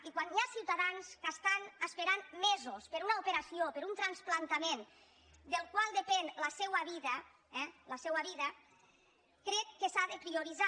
i quan hi ha ciutadans que estan esperant mesos per una operació per un trasplantament del qual depèn la seua vida crec que s’ha de prioritzar